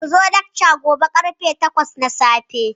Ku zo lakca gobe ƙarfe takwas na safe